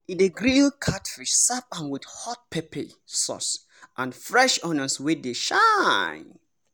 e dey grill catfish serve am with hot pepper sauce and fresh onions wey dey shine.